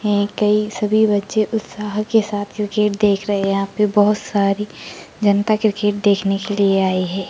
सभी बच्चे उत्साह के साथ क्रिकेट देख रहे है यहा पे बहुत सारी जनता क्रिकेट देखने के लिए आई है।